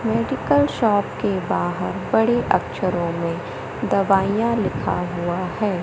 Medical shop के बाहर बड़े अक्षरों में दवाईयां लिखा हुआ है।